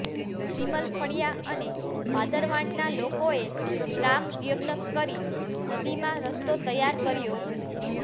સીમલફળીયા અને પાદરવાંટના લોકોએ શ્રામયજ્ઞ કરી નદીમાં રસ્તો તૈયાર કર્યો